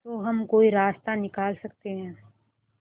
तो हम कोई रास्ता निकाल सकते है